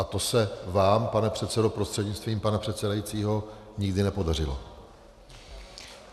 A to se vám, pane předsedo prostřednictvím pana předsedajícího, nikdy nepodařilo.